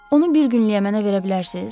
Onu bir günlük mənə verə bilərsiz?